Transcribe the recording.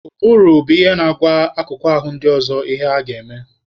Ụbụrụ bụ ihe na-agwa akụkụ ahụ ndị ọzọ ihe ha ga-eme